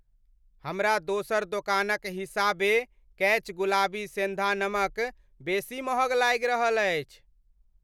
हमरा दोसर दोकानक हिसाबे कैच गुलाबी सेंधा नमक बेसी महग लागि रहल अछि।